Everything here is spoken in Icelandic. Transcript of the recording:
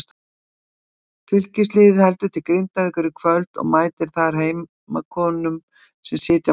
Fylkisliðið heldur til Grindavíkur í kvöld og mætir þar heimakonum sem sitja á botni deildarinnar.